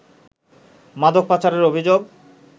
মাদক পাচারের অভিযোগ